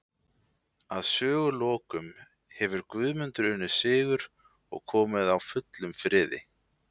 Að sögulokum hefur Guðmundur unnið sigur og komið á fullum friði.